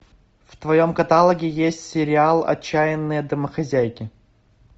в твоем каталоге есть сериал отчаянные домохозяйки